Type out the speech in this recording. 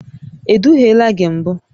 E duhiela gị mbụ?